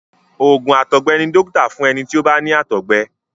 oògùn àtọgbẹ ní dókítà fún ẹní tí o bá ní àtọgbẹ.